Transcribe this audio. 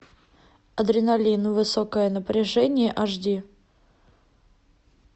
адреналин высокое напряжение аш ди